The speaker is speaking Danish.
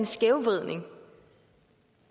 skævvridning